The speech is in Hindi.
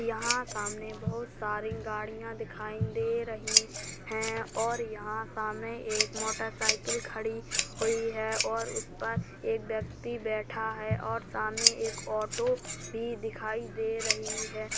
यहाँ सामने बहुत सारी गाड़ियां दिखाई दे रही हैं और यहाँ सामने एक मोटरसाइकिल खड़ी हुई है और उस पर एक व्यक्ति बैठा है और सामने एक ऑटो भी दिखाई दे रही है।